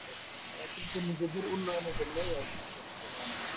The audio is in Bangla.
তারা কিন্তু নিজেদের উন্নয়নের জন্যই এরকম কিছু করছে বলে আমার মনে হয়